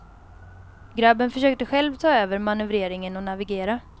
Grabben försökte själv ta över manövreringen och navigera.